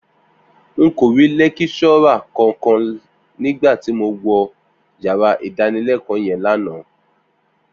N kò rí lẹ́kíṣọ́rà kankan nígbà tí mo wọnú yàrá ìdánilẹ́kọ̀ọ́ yẹn lánàá